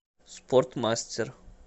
спортмастер